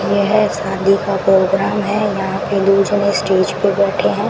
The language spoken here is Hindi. यह शादी का प्रोग्राम है यहां के लोग जो है स्टेज पे बैठे हैं।